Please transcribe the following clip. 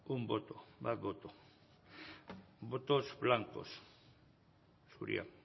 un voto bat boto vots blacos zuria